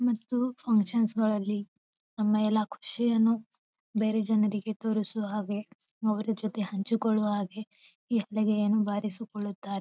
ಮತ್ತು ಫನ್ಕ್ಷನ್ ಗಳಲ್ಲಿ ನಮ್ಮ ಎಲ್ಲ ಖುಷಿಯನ್ನು ಬೇರೆ ಜನರಿಗೆ ತೋರಿಸುವ ಅವ್ರ್ ಜೊತೆ ಹಂಚಿಕೊಳ್ಳುವ ಹಾಗೆ ಬಾರಿಸಿಕೊಳ್ಳುತ್ತಾರೆ.